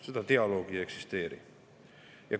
Seda dialoogi ei eksisteeri.